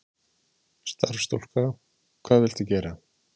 Starfsstúlka: Hvað viltu gera?